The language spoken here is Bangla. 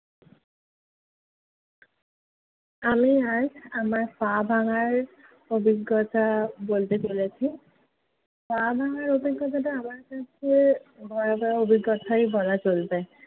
আমি আজ আমার পা ভাঙার অভিজ্ঞতা বলতে চলেছি। পা ভাঙার অভিজ্ঞতাটা আমার কাছে ভয়াবহ অভিজ্ঞতাই বলা চলবে।